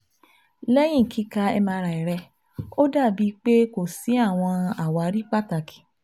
Lẹhin kika MRI rẹ o dabi pe ko si awọn awari pataki